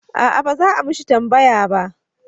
A'a ba za a mishi tambaya ba